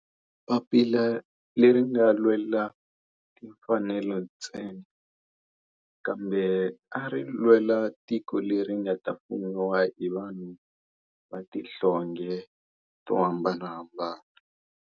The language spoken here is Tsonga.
Papila leri a ri nga lwela timfanelo ntsena kambe ari lwela tiko leri nga ta fumiwa hi vanhu va tihlonge to hambanahambana.